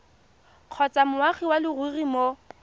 kgotsa moagi wa leruri mo